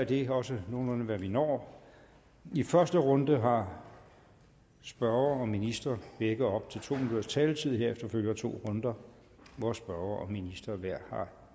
det er også nogenlunde hvad vi når i første runde har spørger og minister begge op til to minutters taletid herefter følger to runder hvor spørger og minister hver har